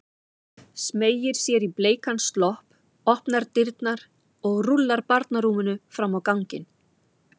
Smeygir sér í bleikan slopp, opnar dyrnar og rúllar barnarúminu fram á ganginn.